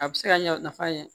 A bɛ se ka ɲɛ nafa ɲɛ